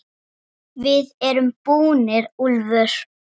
VIÐ ERUM BÚNIR, ÚLFUR!